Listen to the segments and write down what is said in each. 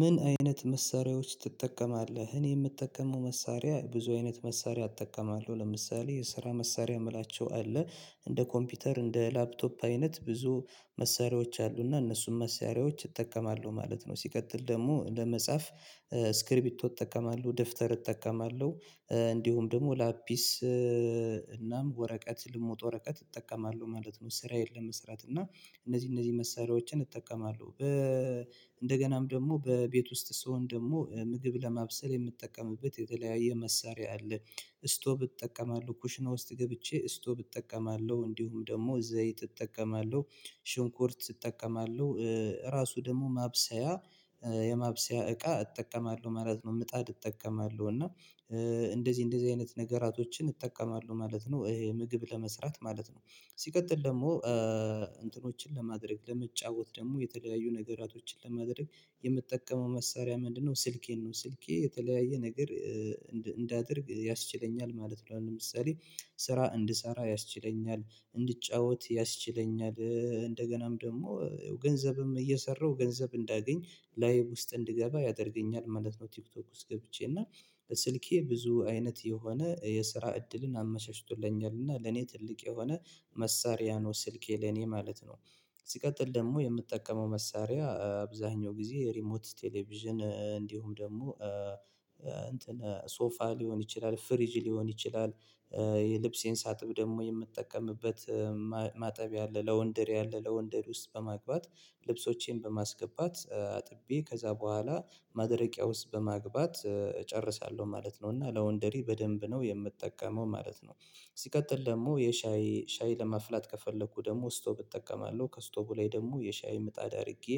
ምን አይነት መሳሪያዎች ትጠቀማለህ? እኔ የምጠቀመው መሳሪያ ብዙ አይነት መሳሪያ እጠቀማለው ለምሳሌ የስራ መሳሪያ ምላቸው አለ እንደ ኮምፒውተር እንደ ላፕቶፕ አይነት ብዙ መሳሪያዎች አሉና እነሱም መሳሪያዎች እጠቀማለሁ ማለት ነው። ሲቀጥል ደግሞ ለመጻፍ ስክሪቢቶ እጠቀማለሁ ደብተር እጠቀማለሁ እንዲሁም ደግሞ ላፒስ እናም ወረቀት ልሙጥ ወረቀት እጠቀማለሁ ማለት ነው። ስራዬን ለመስራት እና እነዚህ እነዚህ መሳሪያዎችን እጠቀማለሁ በ እንደገናም ደግሞ በቤት ውስጥ ስሆን ደግሞ ምግብ ለማብሰል የምጠቀምበት የተለያየ መሳሪያ አለ። ስቶብ እጠቀማለሁ ኩሽና ውስጥ ገብቼ ስቶብ እጠቀማለሁ እንዲሁም ደግሞ ዘይት እጠቀማለሁ ሽንኩርት እጠቀማለሁ ራሱ ደግሞ ማብሰያ የማብሰያ እቃ እጠቀማለሁ ማለት ነው ምጣድ እጠቀማለሁ እና እንደዚህ እንደዚህ አይነት ነገራቶችን እጠቀማለሁ ማለት ነው። ምግብ ለመስራት ማለት ነው። ሲቀጥል ደግሞ እንትኖችን ለማድረግ ለመጫወት ደግሞ የተለያዩ ነገሮችን ለማድረግ የምጠቀመው መሳሪያ ምንድነው? ስልኬን ነው ስልኬ የተለያየ ነገር እንዳደርግ ያስችለኛል ማለት ነው። ለምሳሌ ስራ እንድሰራ ያስችለኛል እንድጫወት ያስችለኛል እንደገናም ደግሞ ገንዘብም እየሰራሁ ገንዘብ እንዳገኝ ላይቭ ውስጥ እንድገባ ያደርገኛል ማለት ነው። ቲክቶክ ውስጥ ገብቼ እና ስልኬ ብዙ አይነት የሆነ የስራ እድልን አመቸችቶልኛል እና ለእኔ ትልቅ የሆነ መሳሪያ ነው። ስልኬ ለኔ ማለት ነው። ሲቀጥል ደግሞ የምጠቀመው መሳሪያ አብዛኛው ጊዜ ሪሞት ቴሌቪዥን እንዲሁም ደግሞ ሶፋ ሊሆን ይችላል ፍሪጅ ሊሆን ይችላል። የልብሴን ሳጥብ ደግሞ የምጠቀምበት ማጠብያ አለ ለወንድር አለ ለወንድር ውስጥ በማግባት ልብሶቼን በማስገባት አጥቤ ከዚያ በኋላ ማድረቂያ ውስጥ በማግባት እጨርሳለሁ ማለት ነው። እና ለወንደሪ በደንብ ነው የምጠቀመው ማለት ነው። ሲቀጥል ደግሞ የሻይ ሻይ ለማፍላት ከፈለኩ ደግሞ ስቶብ እጠቀማለሁ ከስቶቡ ላይ ደግሞ የሻይ ምጣድ አድርጌ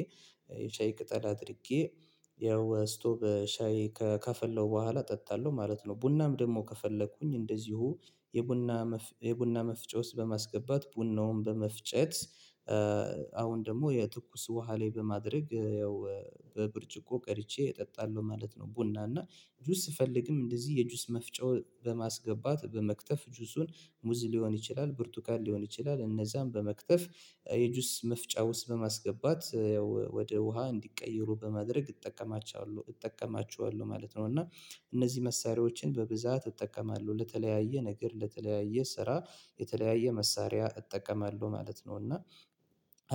የሻይ ቅጠል አድርጌ ያው ስቶብ ሻይ ከ ከፈለው በኋላ ጠጣለሁ ማለት ነው። ቡናም ደግሞ ከፈለኩኝ እንደዚሁ የቡና የቡና መፍጨት ውስጥ በማስገባት ቡናውም በመፍጨት አሁን ደግሞ የትኩስ ውሃ ላይ በማድረግ ያው በብርጭቆ ቀድቼ እጠጣለሁ ማለት ነው። ቡና እና ጁስ ስፈልግም እንደዚህ የጁስ መፍጨው በማስገባት በመክተፍ ጁሱን ሙዝ ሊሆን ይችላል ብርቱካን ሊሆን ይችላል እነዝያን በመክተፍ የጁስ መፍጫ ውስጥ በማስገባት ያው ወደ ውሃ እንዲቀየሩ በማድረግ እጠቀማቸዋለሁ እጠቀማቸዋለሁ ማለት ነው። እና እነዚህ መሳሪያዎችን በብዛት እጠቀማለሁ ለተለያየ ነገር ለተለያየ ስራ የተለያየ መሳሪያ እጠቀማለሁ ማለት ነው። እና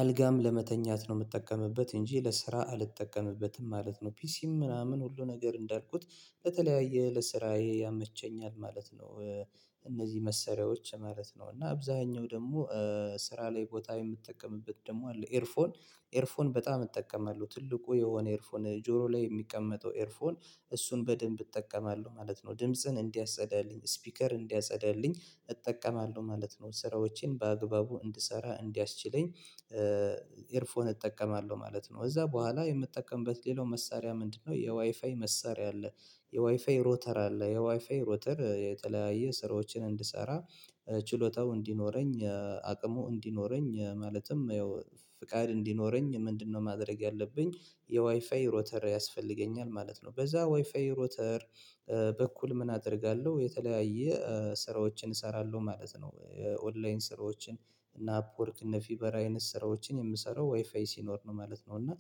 አልጋም ለመተኛት ነው የምጠቀምበት እንጂ ለስራ አልጠቀምበትም ማለት ነው። ፒሲም ምናምን ሁሉ ነገር እንዳልኩት በተለያየ ለስራዬ ያመቸኛል ማለት ነው። እነዚህ መሰሪያዎች ማለት ነው እና አብዛኛው ደግሞ ስራ ላይ ቦታ የምጠቀምበት ደግሞ አለ ኤርፎን ኤርፎን በጣም እጠቀማለሁ ትልቁ የሆነ ኤርፎን ጆሮ ላይ የሚቀመጠው ኤርፎን እሱን በደንብ እጠቀማለሁ ማለት ነው። ድምጽን እንዲያጸዳልኝ ስፒከር እንዲያጸዳልኝ እጠቀማለሁ ማለት ነው። ስራዎችን በአግባቡ እንድሰራ እንዲያስችለኝ ኤርፎን እጠቀማለሁ ማለት ነው። ከዚያ በኋላ የምጠቀምበት ሌላው መሳሪያ ምንድነው? የዋይፋይ መሳሪያ አለ የዋይፋይ ሮተር አለ የዋይፋይ ሮተር የተለያየ ስራዎችን እንድሰራ ችሎታው እንዲኖረኝ አቅሙ እንዲኖረኝ ማለትም ያው ፍቃድ እንዲኖረኝ ምንድነው ማድረግ ያለብኝ የዋይፋይ ሮተር ያስፈልገኛል ማለት ነው። በዚያ ዋይፋይ ሮተር በኩል ምን አደርጋለሁ የተለያየ ስራዎችን እሰራለሁ ማለት ነው። ኦንላይን ስራዎችን እና አፕወርክ እነ ፊቨር አይነት ስራዎችን የምሰራው ዋይፋይ ሲኖር ነው ማለት ነው እና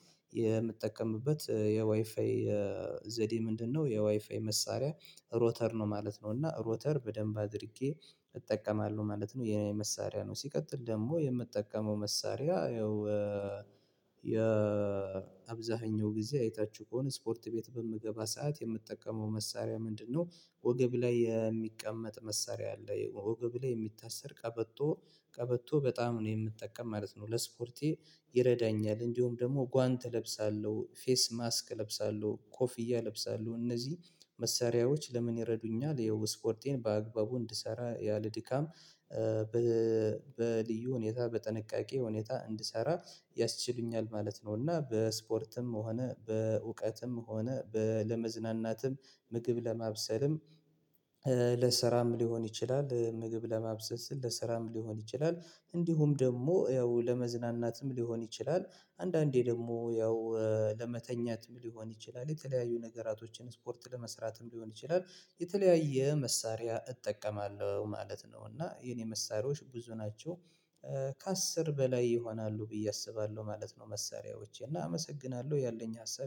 የምጠቀምበት የዋይፋይ ዘዴ ምንድነው? የዋይፋይ መሳሪያ ሮተር ነው ማለት ነው እና ሮተር በደንብ አድርጌ እጠቀማለሁ ማለት ነው። የእኔ መሳሪያ ነው ሲቀጥል ደግሞ የምጠቀመው መሳሪያ ያው የአብዛኛው ጊዜ አይታችሁ ከሆነ ስፖርት ቤት በምገባ ሰዓት የምጠቀመው መሳሪያ ምንድነው? ወገብ ላይ የሚቀመጥ መሳሪያ አለ ወገብ ላይ የሚታሰር ቀበቶ ቀበቶ በጣም ነው የምጠቀም ማለት ነው። ለስፖርቴ ይረዳኛል እንዲሁም ደግሞ ጓንት እለብሳለሁ ፌስ ማስክ እለብሳለሁ ኮፍያ እለብሳለሁ እነዚህ መሳሪያዎች ለምን ይረዱኛል የው ስፖርቴን በአግባቡ እንድሰራ ያለ ድካም በልዩ ሁኔታ በጥንቃቄ ሁኔታ እንድሰራ ያስችሉኛል ማለት ነው። እና በስፖርትም ሆነ በእውቀትም ሆነ ለመዝናናትም ምግብ ለማብሰልም ለስራም ሊሆን ይችላል። ምግብ ለማብሰልም ለስራም ሊሆን ይችላል። እንዲሁም ደግሞ ያው ለመዝናናትም ሊሆን ይችላል። አንዳንዴ ደግሞ ያው ለመተኛትም ሊሆን ይችላል። የተለያዩ ነገራቶችን ስፖርት ለመስራትም ሊሆን ይችላል። የተለያየ መሳሪያ እጠቀማለሁ ማለት ነው። እና የእኔ መሳሪያዎች ብዙ ናቸው። በላይ ይሆናሉ ብዬ አስባለሁ ማለት ነው። መሳሪያዎቼ እና አመሰግናለሁ ያለኝ ሀሳብ